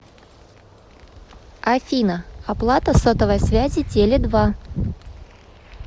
афина оплата сотовой связи теле два